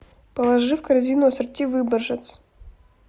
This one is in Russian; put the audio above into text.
положи в корзину ассорти выборжец